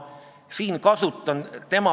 Jevgeni Ossinovski, küsimus, palun!